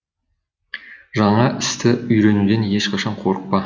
жаңа істі үйренуден ешқашан қорықпа